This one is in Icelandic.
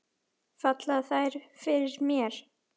Falla þær fyrir mér?